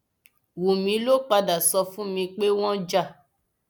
wúmi ló padà sọ fún mi pé wọn jà